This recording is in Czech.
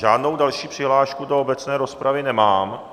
Žádnou další přihlášku do obecné rozpravy nemám.